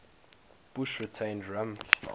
bush retained rumsfeld